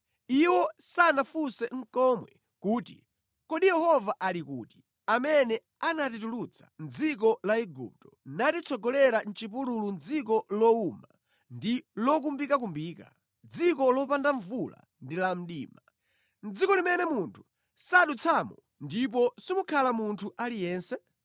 Iwo sanafunse nʼkomwe kuti, ‘Kodi Yehova ali kuti, amene anatitulutsa mʼdziko la Igupto natitsogolera mʼchipululu mʼdziko lowuma ndi lokumbikakumbika, mʼdziko lopanda mvula ndi la mdima, dziko limene munthu sadutsamo ndipo simukhala munthu aliyense?’